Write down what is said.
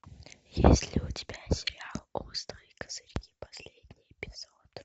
есть ли у тебя сериал острые козырьки последний эпизод